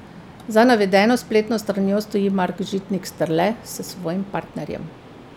Za navedeno spletno stranjo stoji Mark Žitnik Strle s svojim partnerjem.